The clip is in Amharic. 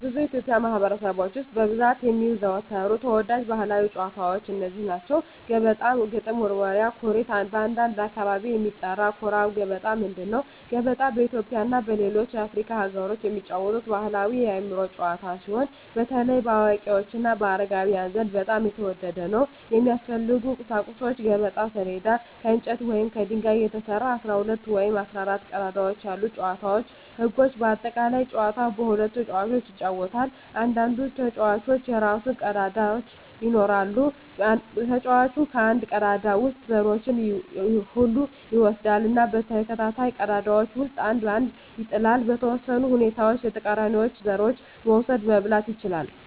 በብዙ የኢትዮጵያ ማኅበረሰቦች ውስጥ በብዛት የሚዘወተሩ ተወዳጅ ባሕላዊ ጨዋታዎች እነዚህ ናቸው፦ ገበጣ ግጥም መወርወሪያ / ኩርት (በአንዳንድ አካባቢ የሚጠራ) ኩራ ገበጣ ምንድን ነው? ገበጣ በኢትዮጵያ እና በሌሎች የአፍሪካ አገሮች የሚጫወት ባሕላዊ የአእምሮ ጨዋታ ሲሆን፣ በተለይ በአዋቂዎች እና በአረጋውያን ዘንድ በጣም የተወደደ ነው። የሚያስፈልጉ ቁሳቁሶች የገበጣ ሰሌዳ: ከእንጨት ወይም ከድንጋይ የተሰራ፣ 12 ወይም 14 ቀዳዳዎች ያሉት የጨዋታው ህጎች (በአጠቃላይ) ጨዋታው በሁለት ተጫዋቾች ይጫወታል። እያንዳንዱ ተጫዋች የራሱን ቀዳዳዎች ይኖራል። ተጫዋቹ ከአንድ ቀዳዳ ውስጥ ዘሮቹን ሁሉ ይወስዳል እና በተከታታይ ቀዳዳዎች ውስጥ አንድ አንድ ይጥላል። . በተወሰኑ ሁኔታዎች የተቃራኒውን ዘሮች መውሰድ (መብላት) ይችላል።